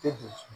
Tɛ dun